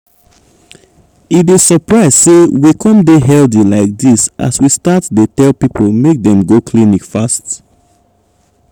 e dey surprise say we come dey healthy like this as we start dey tell people make dem go clinic fast.